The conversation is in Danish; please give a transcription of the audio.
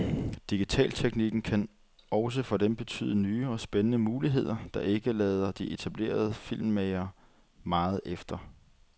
Digitalteknikken kan også for dem betyde nye og spændende muligheder, der ikke lader de etablerede filmmagere meget efter.